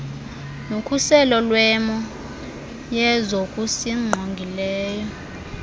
nokhuselo lwemo yezokusingqongileyo